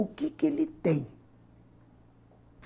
O que que ele tem?